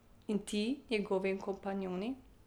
In ti njegovi kompanjoni.